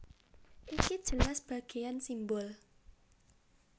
Iki jelas bagéan simbol